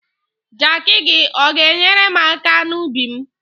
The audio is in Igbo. Jakị gi, ọ ga-enyerem aka n'ubim?